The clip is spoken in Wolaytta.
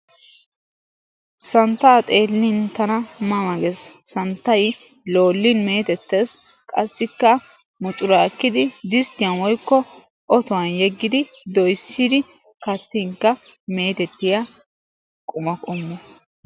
Santtaa xeellin tana ma ma gees, santtay loollin mettettees, qassikka muccuraakkidi distiyan woykko otuwan yeggidi doyissin kattinkka metettiya quma qommo.